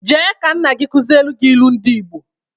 Jee ka nna gị kụziere gị ilu ndị Ịgbo!